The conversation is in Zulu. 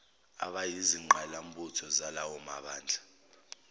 abayizingqalabutho zalawa mabandla